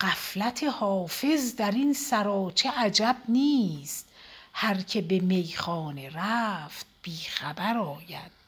غفلت حافظ در این سراچه عجب نیست هر که به میخانه رفت بی خبر آید